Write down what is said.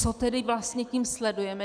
Co tedy vlastně tím sledujeme?